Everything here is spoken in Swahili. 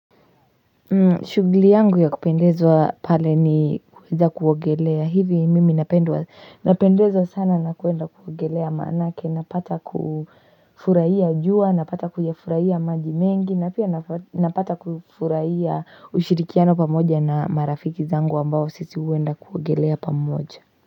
Shughuli yangu ya kupendezwa pale ni kuweza kuogelea hivi mimi napendeza sana na kuenda kuogelea maanake napata kufurahia jua napata kuyafurahia maji mengi na pia napata kufurahia ushirikiano pamoja na marafiki zangu ambao sisi huenda kuogelea pamoja.